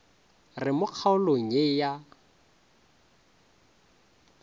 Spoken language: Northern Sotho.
re mo kgaolong ye a